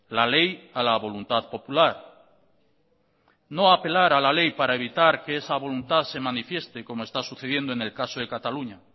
la ley a la voluntad popular no apelar a la ley para evitar que esa voluntad se manifieste como está sucediendo en el caso de cataluña